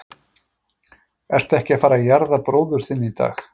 Ertu ekki að fara að jarða bróður þinn í dag?